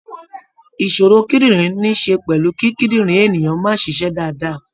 Ìṣòro kídìrín níí ṣe pẹ̀lú kí kídìrín ènìyàn máa ṣiṣẹ́ dáadáa.